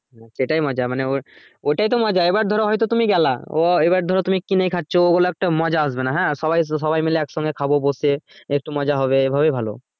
সেটাই মজা মানে ওর ওটাই তো মজা এবার ধরো হয়তো তুমি গেলা ও এবার ধরো তুমি কিনে খাচ্ছ একটা মজা আসবে না হ্যাঁ সবাই সবাই মিলে এক সঙ্গে খাবো বসে একটু মজা হবে এই ভাবেই ভালো